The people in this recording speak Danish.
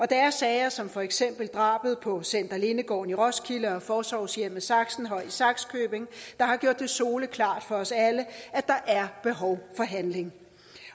det er sager som for eksempel drabet på center lindegården i roskilde og forsorgshjemmet saxenhøj i sakskøbing der har gjort det soleklart for os alle at der er behov for handling